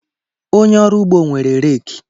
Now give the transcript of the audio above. Onye ọrụ ugbo nwere rek